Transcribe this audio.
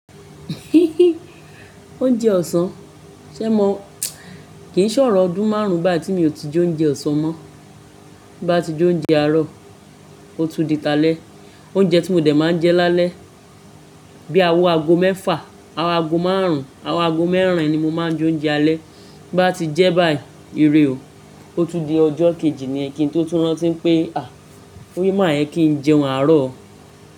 Oúnjẹ ọ̀sán, ṣé mo kì í ṣọ̀rọ̀ ọdún márùn-ún báyi tí mi ò ti je oúnjẹ ọ̀sán mọ́. Bí bá ti je oúnjẹ àárọ̀, ó tú di ta lẹ́. Oúnjẹ tí mo dè máa ń jẹ lálẹ́, bí awọ ago mẹ́fà, owo ago márùn-ún, owọ ago mẹ́rin ni mo máa ń je oúnjẹ alẹ́. Bí n bá ti jẹ́ báyìí, ìrè ọ, ó tú di ọjọ́ kejì niyen, ki n tó tú rántí ń pé, "à, o ma yẹ kí n jẹun àárọ̀ o."